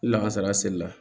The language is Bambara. Lakasa a seli la